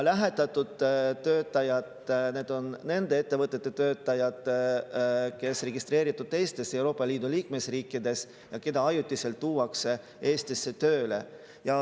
Lähetatud töötajad on nende ettevõtete töötajad, kes on registreeritud teistes Euroopa Liidu liikmesriikides ja kes ajutiselt tuuakse Eestisse tööle.